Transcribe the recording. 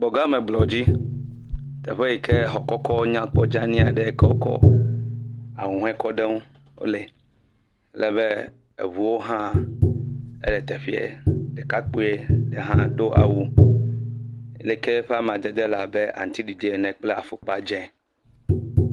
Gbɔgameblɔdzi, teƒe yike exɔ kɔkɔ, dzani, nyakpɔ dzani aɖe, ahuhɔe kɔ ɖe ŋu, wole, alebe eŋuwo hã, wole teƒee, ɖekakpui ɖe hã do awu yi ke ƒe amadede le abe aŋuti ɖiɖi ene kple afɔkpa dzee.